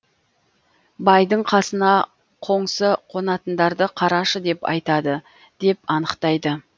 байдың қасына қоңсы қонатындарды қарашы деп айтады деп анықтайды